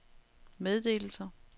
meddelelser